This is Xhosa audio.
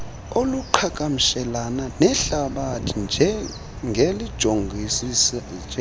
oluqhagamshelana nehlabathi ngelijongisisa